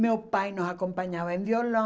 Meu pai nos acompanhava em violão.